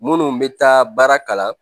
Minnu bɛ taa baara kalan